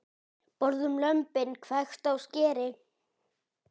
Borðum lömbin, hvekkt á skeri.